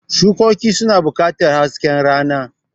Shukoki suna buƙatar hasken rana.